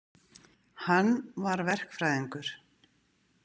Hann var verkfræðingur.